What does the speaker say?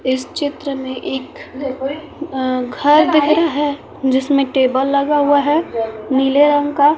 इस चित्र में एक घर दिख रहा है जिसमें टेबल लगा हुआ है नीले रंग का।